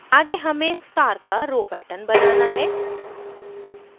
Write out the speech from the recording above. आगे हमें star का row pattern बनाना है